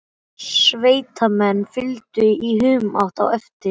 Sveitamenn fylgdu í humátt á eftir.